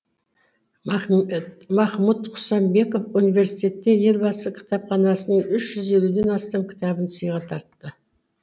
махмұд қасымбеков университетке елбасы кітапханасының үш жүз елуден астам кітабын сыйға тартты